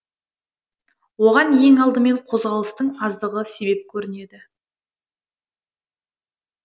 оған ең алдымен қозғалыстың аздығы себеп көрінеді